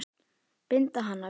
Binda hana við mig.